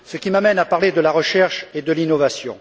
Ce qui m'amène à parler de la recherche et de l'innovation.